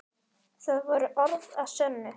Það voru orð að sönnu.